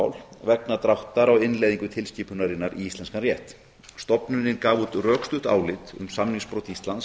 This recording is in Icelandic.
tafamál vegna dráttar á innleiðingu tilskipunarinnar í íslenskan rétt stofnunin gaf út rökstutt álit um samningsbrot íslands